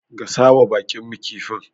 Gasawa baƙinmu kifin.